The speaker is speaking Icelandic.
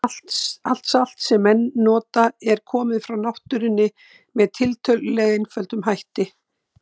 Allt salt sem menn nota er komið frá náttúrunni með tiltölulega einföldum hætti.